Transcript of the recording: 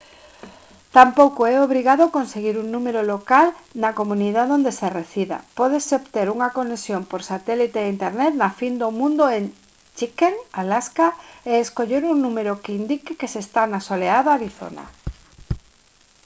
tampouco é obrigado conseguir un número local na comunidade onde se resida; pódese obter unha conexión por satélite a internet na fin do mundo en chicken alaska e escoller un número que indique que se está na soleada arizona